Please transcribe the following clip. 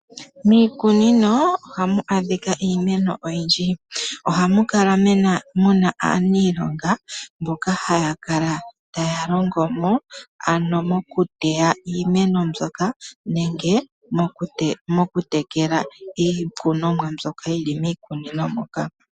Miikunino ohamu adhika iimeno oyindi. Ohamu kala muna aaniilonga mboka haya kala taya longo mo, ano mokuteya iimeno mbyoka nenge mokutekela iikunomwa mbyoka yili miikunino moka.